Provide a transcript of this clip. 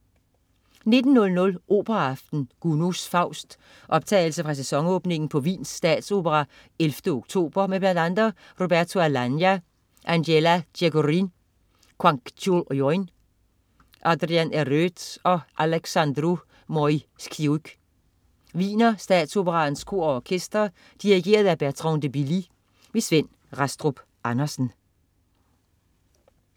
19.00 Operaaften. Gounod: Faust. Optagelse fra sæsonåbningen på Wiens Statsopera 11 oktober. Med bl.a. Roberto Alagna, Angela Gheorghiu, Kwangchul Youn, Adrian Eröd og Alexandru Moisiuc. Wiener Statsoperaens Kor og Orkester. Dirigent: Bertrand de Billy. Svend Rastrup Andersen